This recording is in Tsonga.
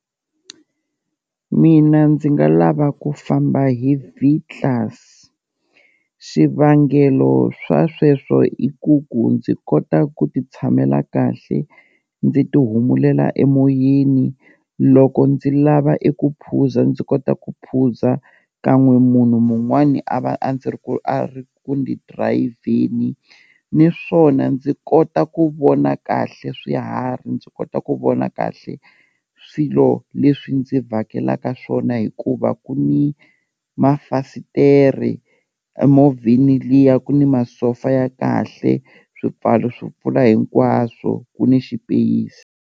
Mina ndzi nga lava ku famba hi V-Class, xivangelo swa sweswo i ku ku ndzi kota ku ti tshamela kahle ndzi ti humulela emoyeni loko ndzi lava eku phuza, ndzi kota ku phuza kan'we munhu mun'wani a va a ndzi ri ku a ri kuni dirayivheni niswona ndzi kota ku vona kahle swiharhi, ndzi kota ku vona kahle swilo leswi ndzi vhakelaka swona hikuva ku ni mafasitere emovheni liya ku ni masofa ya kahle, swipfalo swo pfula hinkwaswo ku ni xipeyisi.